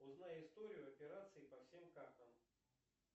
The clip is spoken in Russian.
узнай историю операций по всем картам